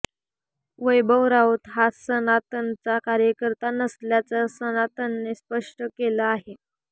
वैभव राऊत हा सनातनचा कार्यकर्ता नसल्याचं सनातनने स्पष्ट केलं आहे